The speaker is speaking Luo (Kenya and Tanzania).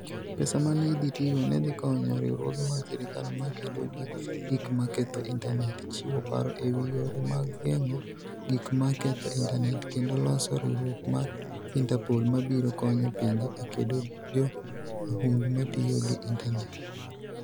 Pesa ma ne idhi tigo, ne dhi konyo riwruoge mag sirkal ma kedo gi gik ma ketho intanet, chiwo paro e wi yore mag geng'o gik ma ketho intanet, kendo loso riwruok mar Interpol ma biro konyo pinje e kedo gi jo mahundu ma tiyo gi intanet.